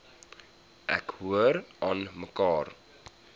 ek hoor aanmekaar